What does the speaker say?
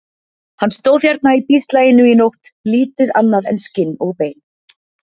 . hann stóð hérna í bíslaginu í nótt, lítið annað en skinn og bein.